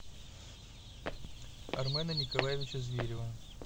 армена николаевича зверева